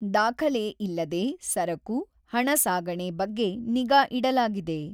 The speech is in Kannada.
ದಾಖಲೆ ಇಲ್ಲದೆ ಸರಕು, ಹಣ ಸಾಗಣೆ ಬಗ್ಗೆ ನಿಗಾ ಇಡಲಾಗಿದೆ.